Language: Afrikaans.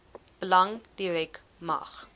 belange direk mag